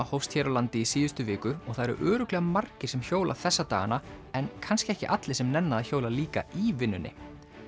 hófst hér á landi í síðustu viku og það eru örugglega margir sem hjóla þessa dagana en kannski ekki allir sem nenna að hjóla líka í vinnunni